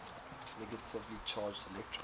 negatively charged electrons